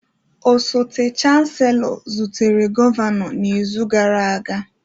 Osote Chancellor zutere Gọvanọ n'izu gara aga